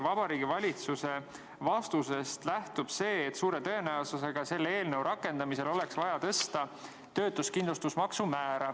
Vabariigi Valitsuse vastusest lähtub, et suure tõenäosusega oleks selle eelnõu rakendamisel vaja tõsta töötuskindlustusmakse määra.